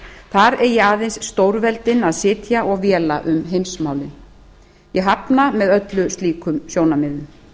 þar eigi aðeins stórveldin að sitja og véla um heimsmálin ég hafna með öllu slíkum sjónarmiðum